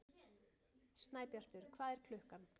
Snæbjartur, hvað er klukkan?